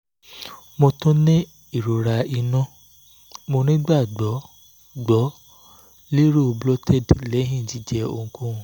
mo tun ni irora inu mo nigbagbogbo lero bloated lẹhin jijẹ ohunkohun